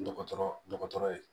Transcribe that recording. Dɔgɔtɔrɔ dɔgɔtɔrɔ ye